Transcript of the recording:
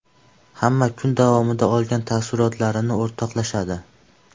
Hamma kun davomida olgan taassurotlarini o‘rtoqlashadi.